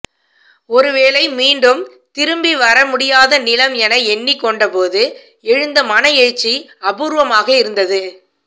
ஒருவேளை மீண்டும் திரும்பிவரவே முடியாத நிலம் என எண்ணிக்கொண்டபோது எழுந்த மனஎழுச்சி அபூர்வமாக இருந்தது